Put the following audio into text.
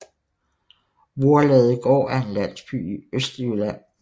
Voerladegård er en landsby i Østjylland med